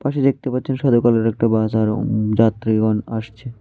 পাশে দেখতে পাচ্ছেন সাদা কালারের একটা বাস আর উম যাত্রীগণ আসছে।